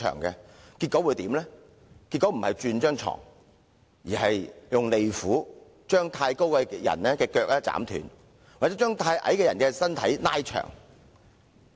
結果他不是給客人換床，而是用利斧斬去過長的雙腳或是拉長過短的身軀。